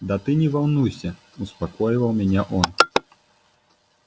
да ты не волнуйся успокоил меня он